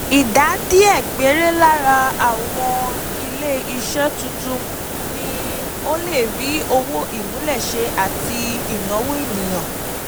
Ìdá díẹ̀ péré lára àwọn ilé-iṣẹ́ tuntun ni ó lè rí owó ìmúlẹ̀ṣẹ àti ìnáwó ènìyàn.